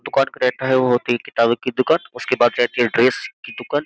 दुकान का रहता है वो होती है किताब की दुकान उसके बाद रहती है ड्रेस की दुकान।